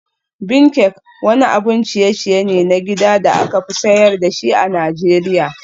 Bean cake wani abun ciye-ciye ne na gida da aka fi sayar da shi a Najeriya.